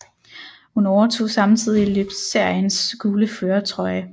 Hun overtog samtidig løbsseriens gule førertrøje